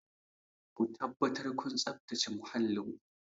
Ku tabbatar kun tsabtace muhallin ku!